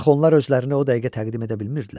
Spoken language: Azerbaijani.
Axı onlar özlərini o dəqiqə təqdim edə bilmirdilər.